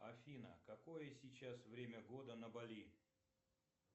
афина какое сейчас время года на бали